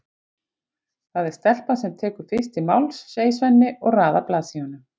Það er stelpan sem tekur fyrst til máls, segir Svenni og raðar blaðsíðunum.